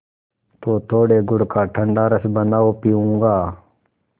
तो थोड़े गुड़ का ठंडा रस बनाओ पीऊँगा